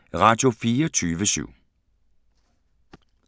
Radio24syv